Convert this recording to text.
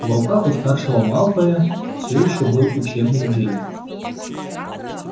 в руках у старшего малфоя всё ещё был учебник джинни